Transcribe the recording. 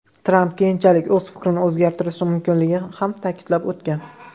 Tramp keyinchalik o‘z fikrini o‘zgartirishi mumkinligini ham ta’kidlab o‘tgan.